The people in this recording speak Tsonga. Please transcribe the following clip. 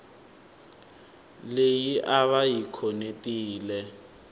leyi a va yi khonetile